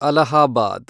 Allahabad